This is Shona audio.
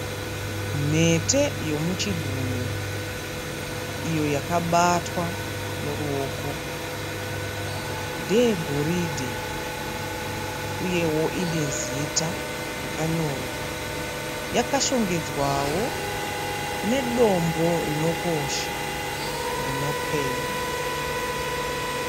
Mhete yomuchigunwe iyo yakabatwa noruoko. Ndeyegoridhe uyewo ine zita rakanyorwa. Yakashongedzwawo nedombo rinokosha rinopenya.